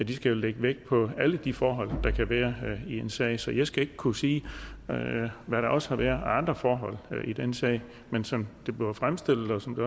de lægge vægt på alle de forhold der kan være i en sag så jeg skal ikke kunne sige hvad der også har været af andre forhold i den sag men som det bliver fremstillet og som det